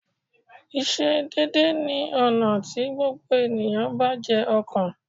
Ìsedédé ni ọ̀nà tí gbogbo ènìyàn bá jé ọkàn